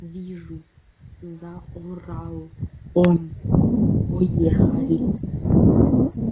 вижу заорал он поехали